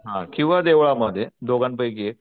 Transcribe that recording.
किंवा देवळामध्ये दोघांपैकी एक